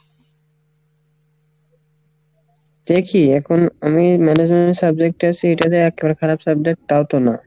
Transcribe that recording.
দেখি এখন আমি management subject এ আসি এটা যে একেবারে খারাপ subject তা তো না।